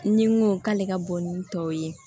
Ni n ko k'ale ka bɔ ni tɔw ye